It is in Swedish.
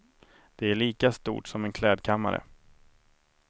Det är lika stort som en klädkammare.